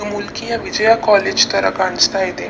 ಮುಲ್ಕಿಯ Vijaya college ತರ ಕಾಣಿಸ್ತಾ ಇದೆ.